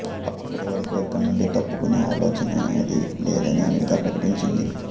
అప్పటి వరకూ ఇక్కడి నుండి తప్పుకునే ఆలోచనేదీ లేదని అమెరికా ప్రకటించింది